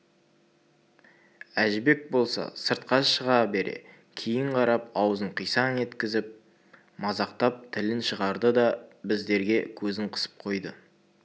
әжібек болса сыртқа шыға бере кейін қарап аузын қисаң еткізіп мазақтап тілін шығарды да біздерге көзін қысып қойды